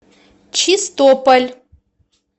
чистополь